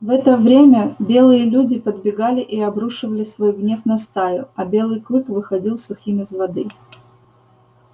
в это нремя белые люди подбегали и обрушивали свой гнев на стаю а белый клык выходил сухим из воды